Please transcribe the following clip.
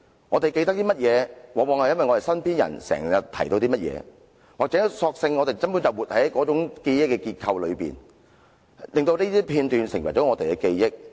我們記得甚麼，往往是因為身邊人經常提及甚麼，或是我們根本就活在那種記憶的結構裏，令這些片段成為了我們的記憶。